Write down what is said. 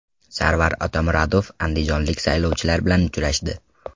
Sarvar Otamuratov andijonlik saylovchilar bilan uchrashdi.